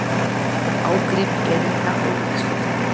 Ágrip erinda og veggspjalda.